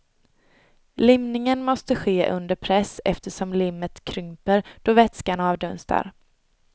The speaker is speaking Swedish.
Limningen måste ske under press eftersom limmet krymper då vätskan avdunstar.